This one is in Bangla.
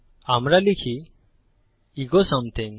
আমরা লিখি ইকো সামথিং